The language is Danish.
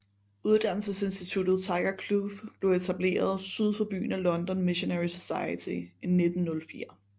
Uddannelsesinstituttet Tiger Kloof blev etableret syd for byen af London Missionary Society i 1904